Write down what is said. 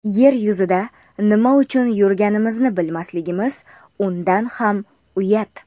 Yer yuzida nima uchun yurganimizni bilmasligimiz undan ham uyat.